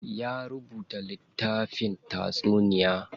Ya rubuta littafin taysuniya.